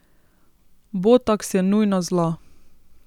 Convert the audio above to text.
Botoks je nujno zlo.